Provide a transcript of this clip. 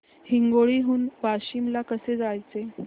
हिंगोली हून वाशीम ला कसे जायचे